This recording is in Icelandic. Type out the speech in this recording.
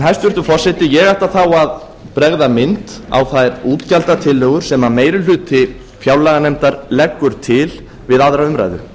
hæstvirtur forseti ég ætla þá að bregða mynd á þær útgjaldatillögur sem meiri hluti fjárlaganefndar leggur til við aðra umræðu